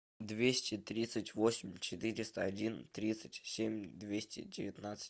двести тридцать восемь четыреста один тридцать семь двести девятнадцать